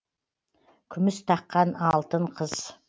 күміс таққан алтын қыз